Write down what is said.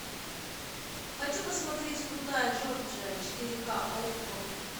хочу посмотреть крутая джорджия четыре ка окко